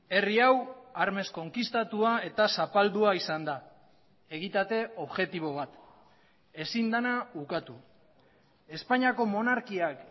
herri hau armez konkistatua eta zapaldua izan da egitate objektibo bat ezin dena ukatu espainiako monarkiak